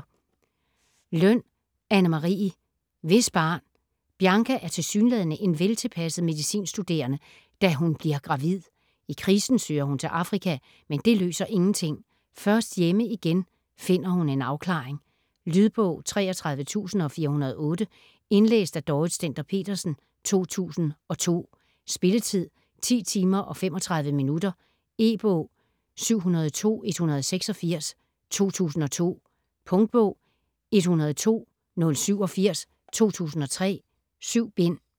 Løn, Anne Marie: Hvis barn - Bianca er tilsyneladende en veltilpasset medicinstuderende, da hun bliver gravid. I krisen søger hun til Afrika, men det løser ingenting. Først hjemme igen finder hun en afklaring. Lydbog 33408 Indlæst af Dorrit Stender-Petersen, 2002. Spilletid: 10 timer, 35 minutter. E-bog 702186 2002. Punktbog 102087 2003. 7 bind.